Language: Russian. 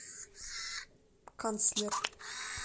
канцлер